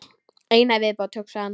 Eina í viðbót, hugsaði hann.